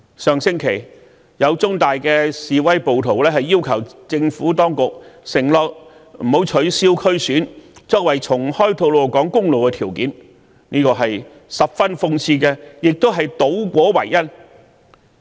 上星期，有在香港中文大學示威的暴徒要求政府當局承諾不取消區議會選舉，作為重開吐露港公路的條件，這實在十分諷刺，亦是倒果為因。